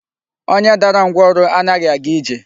Onye dara ngwụrọ anaghị aga ije.